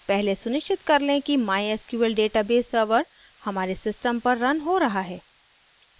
पहले सुनिश्चित कर लें कि mysql database server हमारे सिस्टम पर रन हो रहा है